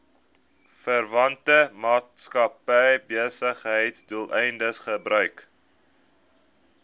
verwante maatskappybesigheidsdoeleindes gebruik